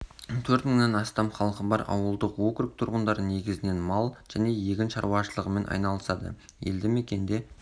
төрт мыңнан астам халқы бар ауылдық округ тұрғындары негізінен мал және егін шаруашылығымен айналысады елді мекенде